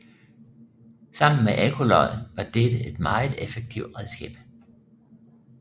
Sammen med ekkolod var dette et meget effektivt redskab